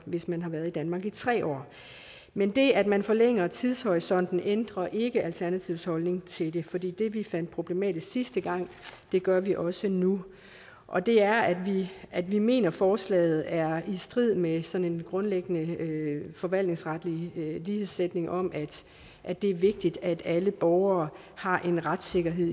hvis man har været i danmark i tre år men det at man forlænger tidshorisonten ændrer ikke alternativets holdning til det fordi det vi fandt problematisk sidste gang gør vi også nu og det er at vi mener at forslaget er i strid med sådan en grundlæggende forvaltningsretlig lighedssætning om at at det er vigtigt at alle borgere har en retssikkerhed